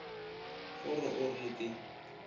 go re o re ke